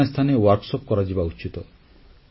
ସ୍ଥାନେ ସ୍ଥାନେ କର୍ମଶାଳା କରାଯିବା ଉଚିତ